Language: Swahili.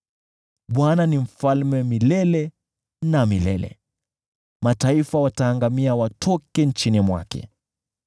Bwana ni Mfalme milele na milele, mataifa wataangamia watoke nchini mwake.